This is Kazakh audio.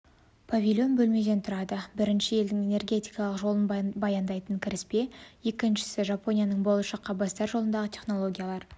павильон бөлмеден тұрады біріншісі елдің энергетикалық жолын баяндайтын кіріспе екіншісі жапонияның болашаққа бастар жолындағы технологиялар